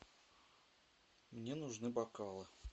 мне нужны бокалы